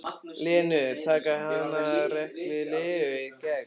Lenu, taka hana rækilega í gegn.